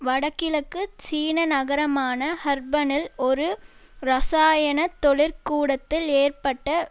வடகிழக்கு சீன நகரமான ஹர்பனில் ஒரு இரசாயன தொழிற் கூடத்தில் ஏற்பட்ட